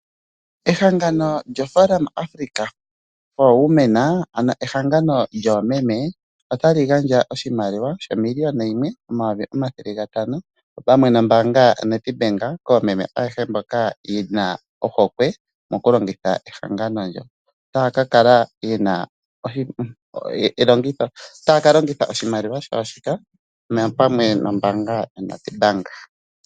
Ehangano lyoForum Africa for women ano ehangano lyoomeme otali gandja oshimaliwa ano omiliona yimwe omayovi omathele gatano pamwe nombaanga yoStandard koomeme ayehe mboka yena ohokwe mokulongitha ehangano lyo. Otaya kalongitha oshimaliwa shawo shika pamwe nombaanga yoStandard.